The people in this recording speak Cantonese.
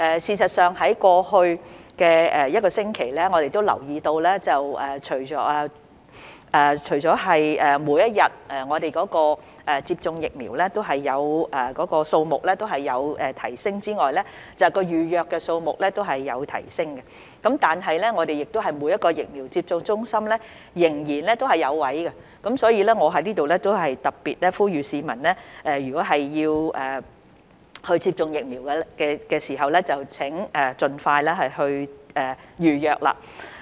事實上，在過去一星期，我們留意到除了每天接種疫苗的數目有提升外，預約數目也有提升，但是，每間疫苗接種中心仍然有名額可供使用，所以我在這裏特別呼籲市民，如果要接種疫苗，請盡快預約。